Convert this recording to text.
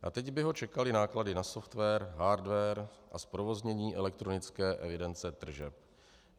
A teď by ho čekaly náklady na software, hardware a zprovoznění elektronické evidence tržeb.